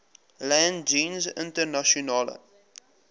land jeens internasionale